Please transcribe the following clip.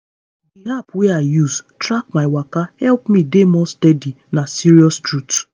the app wey i use track my waka help me dey more steady na serious truth.